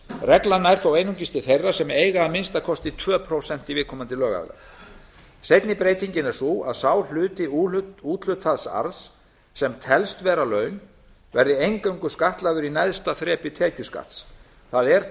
reglan nær þó einungis til þeirra sem eiga að minnsta kosti tvö prósent í viðkomandi lögaðila seinni breytingin er sú að sá hluti úthlutaðs arðs sem telst vera laun verði eingöngu skattlagður í neðsta þrepi tekjuskattsins það er